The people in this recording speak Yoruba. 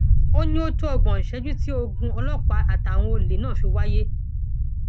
ó ní ó tó ọgbọn ìṣẹjú tí ogun ọlọpàá àtàwọn olè náà fi wáyé